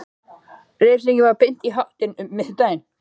Refsingin var beint í háttinn um miðjan dag.